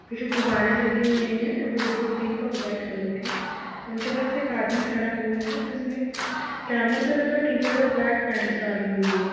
पीछे गोब्बरे लगे हुए है जो कि पिंक और व्हाइट कलर के है उनके पास एक आदमी खड़ा हुआ है जिसने और ब्लैक पैंट ली हुई है |